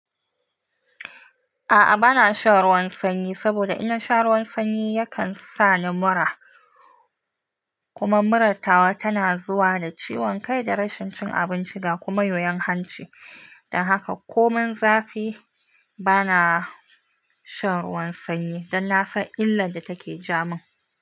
A'a bana shan ruwan sanyi, saboda in na sha ruwan sanyi yakan sa ni mura. Kuma murat tawa tana zuwa da ciwon kai da rashin cin abinci ga kuma yoyon hanci. Don haka ko min zafi bana shan ruwan sanyi, don na san illar da take jamun.